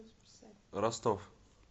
ростов